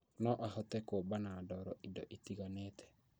No ahote kũũmba na ndoro indo itiganite